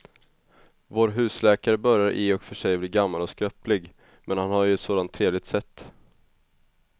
Vår husläkare börjar i och för sig bli gammal och skröplig, men han har ju ett sådant trevligt sätt!